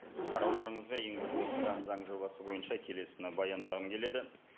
қарауларыңызға енгізіліп отырған заң жобасы бойынша келесіні баяндағым келеді